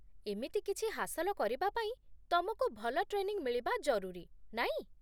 ଏମିତି କିଛି ହାସଲ କରିବା ପାଇଁ ତମକୁ ଭଲ ଟ୍ରେନିଂ ମିଳିବା ଜରୁରୀ, ନାଇଁ?